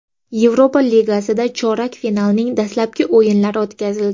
Yevropa Ligasida chorak finalning dastlabki o‘yinlari o‘tkazildi.